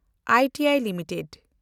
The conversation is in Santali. I T I limited